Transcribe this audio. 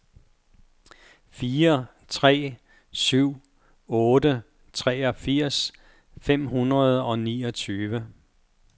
fire tre syv otte treogfirs fem hundrede og niogtyve